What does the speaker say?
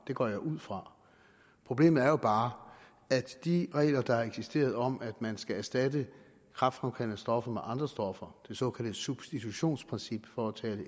det går jeg ud fra problemet er bare at de regler der har eksisteret om at man skal erstatte kræftfremkaldende stoffer med andre stoffer det såkaldte substitutionsprincip for at tale